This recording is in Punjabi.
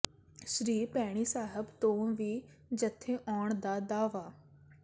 ਸ੍ਰੀ ਭੈਣੀ ਸਾਹਿਬ ਤੋਂ ਵੀ ਜੱਥੇ ਆਉਣ ਦਾ ਦਾਅਵਾ